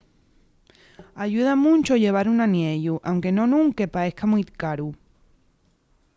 ayuda muncho llevar un aniellu anque non ún que paeza mui caru